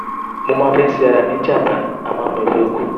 mo máa ń fẹ́ ṣe ara mi ní jàǹbá àmọ́ mi ò fẹ́ kú